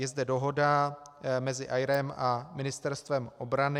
Je zde dohoda mezi AERO a Ministerstvem obrany.